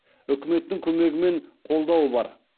үкіметтің көмегі мен қолдауы бар